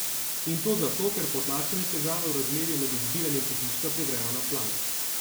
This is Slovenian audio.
In to zato, ker potlačene težave v razmerju med izbiranjem pohištva privrejo na plan.